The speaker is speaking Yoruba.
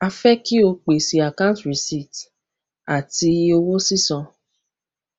a fẹ kí o pèsè àkáǹtì rìsíìtì àti owó sísan